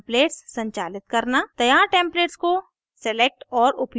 templates संचालित करना तैयार टेम्पलेट्स को सेलेक्ट और उपयोग करना